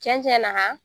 Cɛn cɛn na